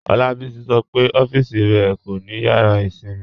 Olabisi sọ́ pe ọffísì rẹ kò ni yàrà ìṣinmí